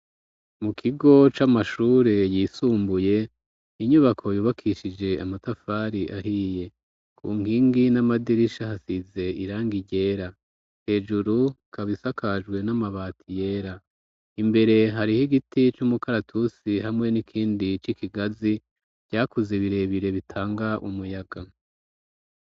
Mu kigo c'amashure yisumbuye inyubako yubakishije amatafari ahiye ku nkingi n'amadirisha hasize irangi ryera hejuru hasakajwe n'amabati yera imbere hariho igiti c'umukaratusi hamwe n'ikindi c'ikigazi vyakuze birebire bitanga umuyaga.